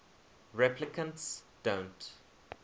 replicants don't